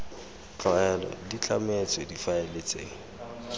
tlwaelo di tlametswe difaele tse